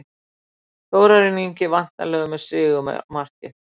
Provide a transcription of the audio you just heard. Þórarinn Ingi væntanlega með sigurmarkið.